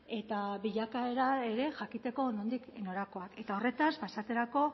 eta bilakaera ere jakiteko nondik norakoak eta horretaz pasatzerako